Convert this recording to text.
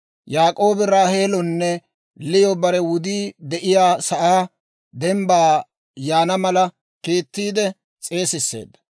Yaak'oobi Raaheelonne Liyo bare wudii de'iyaa sa'aa dembbaa yaana mala kiittiide s'eesisseedda.